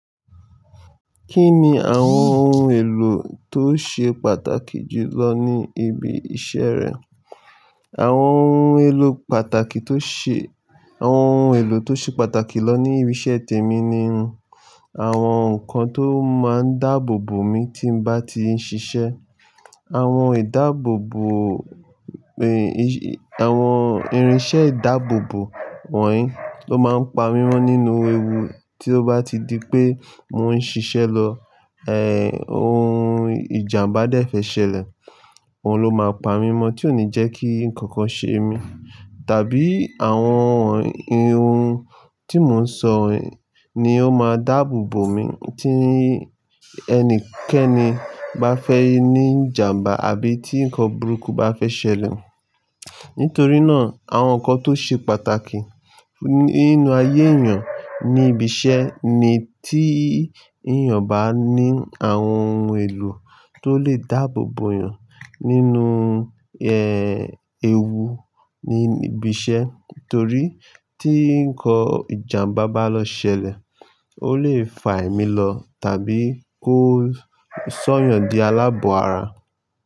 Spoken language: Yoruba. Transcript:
Kí ni àwọn ohun èlò tó ṣe pàtàkì jù lọ ní ibi iṣẹ́ rẹ? Àwọn ohun èlò pàtàkì tó ṣe, àwọn ohun èlò tó ṣe pàtàkì lọ ní ibi iṣẹ́ tèmi ni àwọn nǹkan tó máa ń dáàbò bo mi tí m'bá ti ń ṣiṣẹ́. Àwọn ìdáàbò bo, èé, iṣ-- àwọn irinṣẹ́ ìdáàbò bo wọ̀nyí ló máa ń pa wímọ̀ nínú ewu tí ó bá ti di pé mò ń ṣiṣẹ́ lọ. Ẹ̀h, ohun ìjàmbá dẹ̀ fẹ́ ṣẹlẹ̀, òun ló máa ń pa wímọ̀ tí ò ní jẹ́ kí nǹkan ṣe mi. Tàbí àwọn ohun tí mò ń sọ ni ó máa dáàbò bo mi tí ẹnikẹ́ni bá fẹ́ ní ìjàmbá àbí tí nǹkan burúkú bá fẹ́ ṣẹlẹ̀. Nítorí náà, àwọn nǹkan tó ṣe pàtàkì nínú ayé èèyàn ní ibi iṣẹ́ ni tí èèyàn bá ní àwọn ohun èlò tó lè dáàbò bo èèyàn nínú, ewu níbi iṣẹ́. Nítorí tí nǹkan ìjàmbá bá lọ ṣẹlẹ̀, ó lè fà emí lọ tàbí kó sọ́yàn di alábọ̀ara.